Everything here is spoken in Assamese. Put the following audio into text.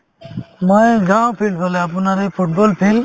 মই যাও filed ফালে আপোনাৰ সেই football field